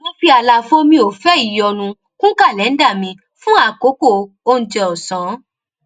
mo fi àlàfo mi ò fẹ ìyọnu kún kàléńdà mi fún àkókò oúnjẹ òsán